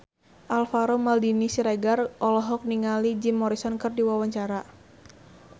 Alvaro Maldini Siregar olohok ningali Jim Morrison keur diwawancara